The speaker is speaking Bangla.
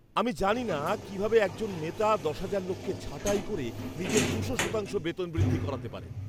আমি জানি না কিভাবে একজন নেতা দশ হাজার লোককে ছাঁটাই করে নিজের দুশো শতাংশ বেতন বৃদ্ধি করাতে পারেন।